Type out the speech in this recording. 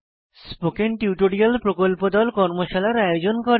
spoken tutorial প্রকল্প দল কর্মশালার আয়োজন করে